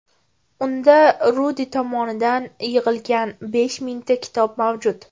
Unda Rudi tomonidan yig‘ilgan besh mingta kitob mavjud.